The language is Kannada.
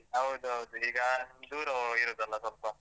ಹೌದೌದು. ಈಗ ದೂರ ಹೋಗಿರುದಲ್ಲ ಸ್ವಲ್ಪ?